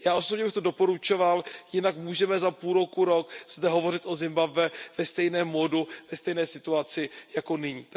Já osobně bych to doporučoval, jinak můžeme za půl roku až rok zde hovořit o Zimbabwe ve stejném módu, ve stejné situaci jako nyní.